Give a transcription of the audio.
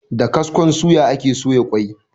Da kaskon suya ake soya ƙwai.